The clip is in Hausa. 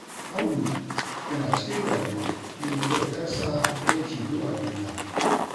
Audu yana cikin damuwa na mutuwar 'yarsa daya tilo a duniya